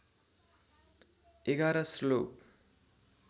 ११ श्लोक